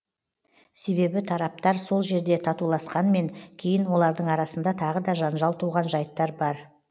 себебі тараптар сол жерде татуласқанмен кейін олардың арасында тағы да жанжал туған жайттар бар